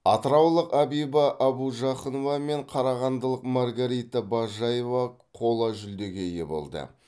атыраулық абиба абужақынова мен қарағандылық маргарита бажаева қола жүлдеге ие болды